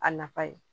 A nafa ye